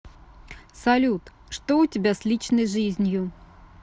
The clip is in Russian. салют что у тебя с личной жизнью